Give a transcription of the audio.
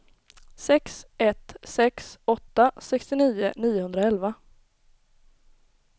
sex ett sex åtta sextionio niohundraelva